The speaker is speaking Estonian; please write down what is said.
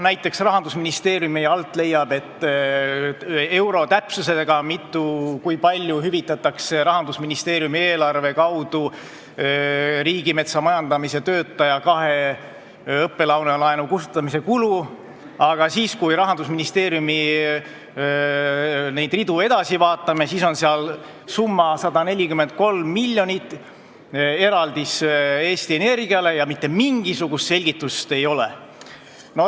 Näiteks leiab Rahandusministeeriumi alt euro täpsusega, kui palju hüvitatakse Rahandusministeeriumi eelarve kaudu Riigimetsa Majandamise Keskuse töötaja õppelaenu kustutamise kulusid, aga kui me Rahandusministeeriumi ridu edasi vaatame, siis näeme, et seal on kirjas 143 miljonit eraldisena Eesti Energiale ja mitte mingisugust selgitust seal juures ei ole.